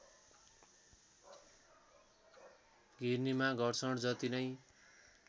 घिर्नीमा घर्षण जति नै